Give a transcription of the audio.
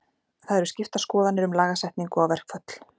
Það eru skiptar skoðanir um lagasetningu á verkföll.